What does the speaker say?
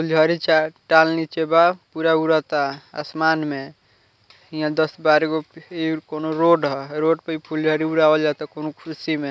फुलझड़ी छै टाइल नीचे बा पूरा उड़ाता आसमान में इहाँ दस-बारहगो इ कउनो रोड ह रोड पे इ फुलझड़ी उड़ावल जाता कोनो खुशी में।